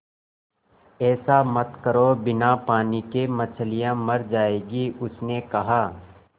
ऐसा मत करो बिना पानी के मछलियाँ मर जाएँगी उसने कहा